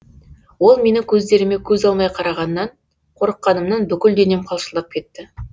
ол менің көздеріме көз алмай қарағаннан қорыққанымнан бүкіл денем қалшылдап кетті